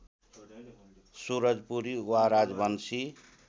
सुरजपुरी वा राजवंशी